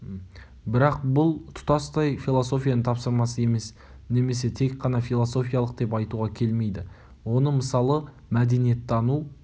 бірақ бұл тұтастай философияның тапсырмасы емес немесе тек қана философиялық деп айтуға келмейді оны мысалы мәдениеттану